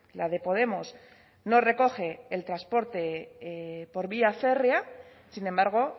la de podemos no recoge el transporte por vía férrea sin embargo